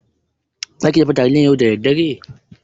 Zaki dafa taliyar yau da daddare?